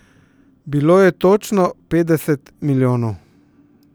Bilo je točno petdeset milijonov.